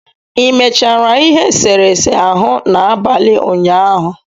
Ị mechara ihe eserese ahụ n'abalị ụnyaahụ?